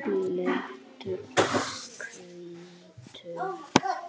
blettur hvítur.